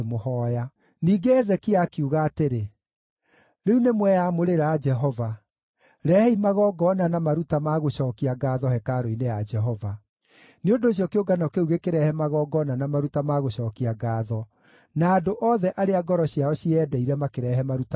Ningĩ Hezekia akiuga atĩrĩ, “Rĩu nĩmweyamũrĩra Jehova. Rehei magongona na maruta ma gũcookia ngaatho hekarũ-inĩ ya Jehova.” Nĩ ũndũ ũcio kĩũngano kĩu gĩkĩrehe magongona na maruta ma gũcookia ngaatho, na andũ othe arĩa ngoro ciao cieyendeire makĩrehe maruta ma njino.